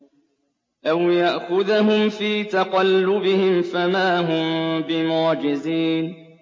أَوْ يَأْخُذَهُمْ فِي تَقَلُّبِهِمْ فَمَا هُم بِمُعْجِزِينَ